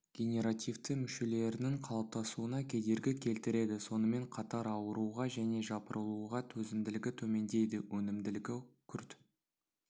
генеративті мүшелерінің қалыптасуына кедергі келтіреді сонымен қатар ауруға және жапырылуға төзімділігі төмендейді өнімділігі күрт